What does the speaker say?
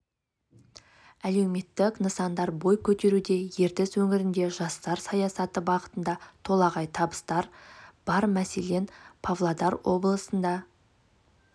әлеуметтік нысандар бой көтеруде ертіс өңірінде жастар саясаты бағытында толағай табыстар бар мәселен павлодар облысында